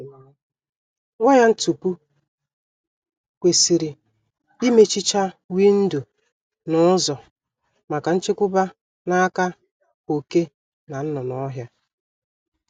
Waya ntupu kwesịrị imechicha windo na ụzọ maka nchekwba n'aka oké na nnụnụ ọhịa